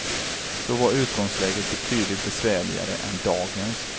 Då var utgångsläget betydligt besvärligare än dagens.